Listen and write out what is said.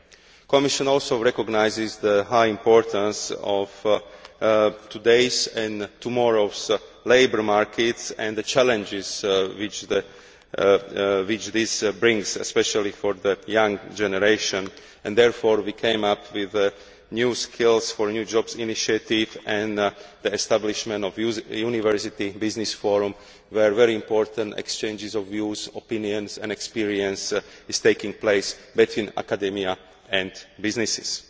The Commission also recognises the high importance of today's and tomorrow's labour markets and the challenges which this brings, especially for the young generation, and we have therefore come up with the new skills for new jobs' initiative, and the establishment of a university business forum where very important exchanges of views, opinions and experience are taking place both in academia and businesses.